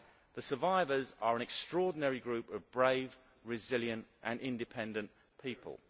The survivors are an extraordinary group of brave, resilient and independent people.